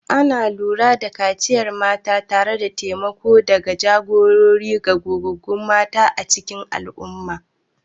Ana lura da kaciyar mata tare da taimako da jagora daga gogaggun mata a cikin al'umma.